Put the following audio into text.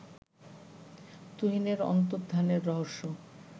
তুহিনের অন্তর্ধানের রহস্য